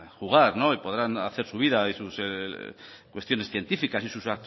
jugar y podrán hacer su vida y sus cuestiones científicas y sus